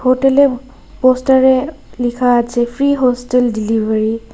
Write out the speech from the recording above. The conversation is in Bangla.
হোটেলে পোস্টারে লিখা আছে ফ্রি হোস্টেল ডিলিভারি ।